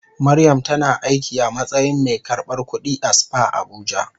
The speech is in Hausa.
Mariam tana aiki a matsayin mai karbar kudi a spa Abuja.